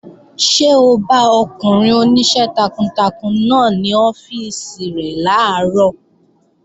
Ṣé o bá ọkùnrin oníṣẹ́ takuntakun náà ní ọ́fíìsì rẹ̀ làárọ̀?